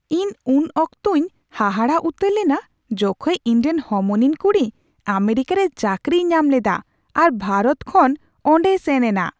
ᱤᱧ ᱩᱱ ᱚᱠᱛᱚᱧ ᱦᱟᱦᱟᱲᱟᱜ ᱩᱛᱟᱹᱨ ᱞᱮᱱᱟ ᱡᱚᱠᱷᱮᱡ ᱤᱧᱨᱮᱱ ᱦᱚᱢᱚᱱᱤᱧ ᱠᱩᱲᱤ ᱟᱢᱮᱨᱤᱠᱟᱨᱮ ᱪᱟᱹᱠᱨᱤᱭ ᱧᱟᱢ ᱞᱮᱫᱟ ᱟᱨ ᱵᱷᱟᱨᱚᱛ ᱠᱷᱚᱱ ᱚᱸᱰᱮᱭ ᱥᱮᱱ ᱮᱱᱟ ᱾